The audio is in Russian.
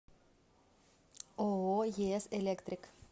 ооо ес электрик